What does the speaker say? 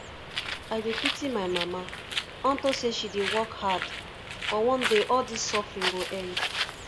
i dey pity my mama unto say she dey work hard but one day all dis suffering go end